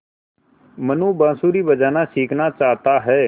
मनु बाँसुरी बजाना सीखना चाहता है